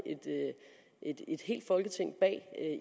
et helt folketing bag